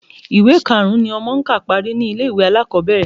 Ìwé karùn-ún ni ọmọ ń kà parí ni ilé-ìwé alákọ̀ọ́bẹ̀rẹ̀